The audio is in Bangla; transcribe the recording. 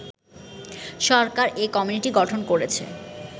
সরকার এ কমিটি গঠন করেছে